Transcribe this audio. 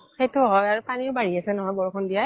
সেইটোও হয় আৰু পানিও বাঢ়ি আছে ন' বৰষুণ দিয়াই